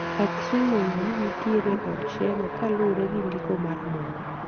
Aksum ong'e ni nitiere e od Sheba kuluwore gi ndiko mar muma